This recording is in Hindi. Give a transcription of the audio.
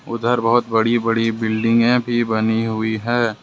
उधर बहुत बड़ी बड़ी बिल्डिंगे भी बनी हुई हैं।